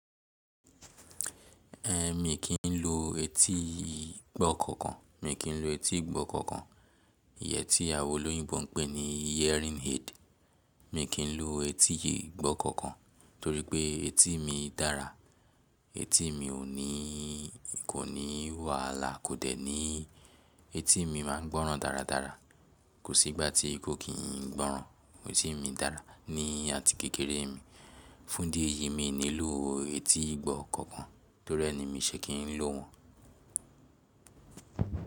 Ehn mi kì í lo etí ìgbọ́ kankan. Mi kì í lo etí ìgbọ́ kankan. Iyẹ tí awon olóyìnbo ń pẹ ní earring head. Mi kì í lo etí ìgbọ́ kankan torí pé etí mi dára. Etí mi ò nï, kò ní wàhálà, kò dẹ́ ní etí mi máa ń gbọ́ràn dáradára. Kò sí ìgbà tí kò kín ń gbọ́ràn. Etí mi dára ní àtíkèkeré mi. Fún idí eyí mi ní ló etí ìgbọ́ kankan torí ẹ ni mi ṣẹ́ kín ló wọn.